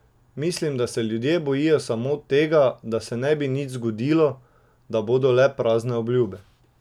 Mislim, da se ljudje bojijo samo tega, da se ne bi nič zgradilo, da bodo le prazne obljube.